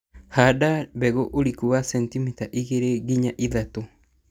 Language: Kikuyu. handa mbegũ ũrikũ wa centimita igĩrĩ nginys ithatũ.